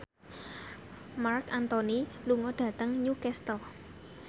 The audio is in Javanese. Marc Anthony lunga dhateng Newcastle